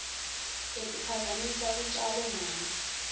letiphazamisa lutjalo mali